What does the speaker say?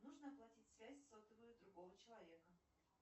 нужно оплатить связь сотовую другого человека